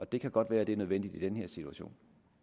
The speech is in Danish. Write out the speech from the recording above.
det kan godt være at det er nødvendigt i den her situation